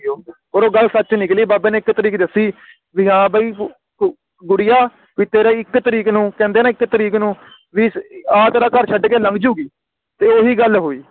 ਹੁਣ ਉਹ ਗੱਲ ਸੱਚ ਨਿਕਲੀ ਬਾਬੇ ਨੇ ਇਕ ਤਰੀਕ ਵੀ ਹਾਂ ਬਈ ਤੂੰ ਤੂੰ ਗੂੜ੍ਹੀਆਂ ਵੀ ਤੇਰਾ ਇਕ ਤਰੀਕ ਨੂੰ ਕਹਿੰਦੇ ਨੇ ਇਕ ਤਰੀਕ ਨੂੰ ਵੀ ਆ ਤੇਰਾ ਘਰ ਛੱਡ ਕੇ ਲੰਘ ਜੁਗੀ ਤੇ ਓਹੀ ਗੱਲ ਹੁਈ